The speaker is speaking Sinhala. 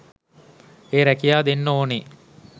ඒ රැකියා දෙන්න ඕනේ